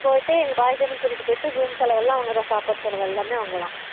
போயிட்டு எங்க பாத்தனும் கூட்டிட்டு போயிட்டு எங்க room செலவும் எல்லாம் அவங்க தான் சாப்பாடு செலவும் எல்லாமே அவங்க தான்